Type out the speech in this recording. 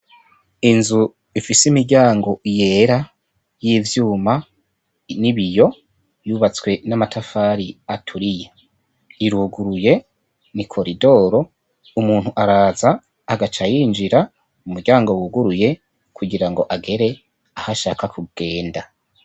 Inzu ifise imiryango yera y'ivyuma n'ibiyo yubatswe n'amatafari aturiye, iruguruye, n'ikoridoro, umuntu araza agaca yinjira mu muryango wuguruye kugira ngo agere aho ashaka kugenda.